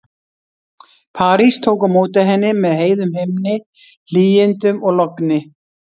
París tók á móti henni með heiðum himni, hlýindum og logni.